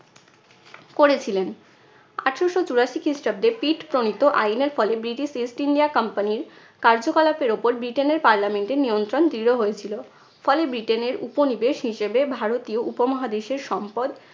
করেছিলেন। আঠেরশো চুরাশি খ্রিস্টাব্দে পিট প্রণীত আইনের ফলে ব্রিটিশ east india company র কার্যকলাপের উপর ব্রিটেনের parliament এর নিয়ন্ত্রণ দৃঢ় হয়েছিল। ফলে ব্রিটেনের উপনিবেশ হিসেবে ভারতীয় উপমহাদেশের সম্পদ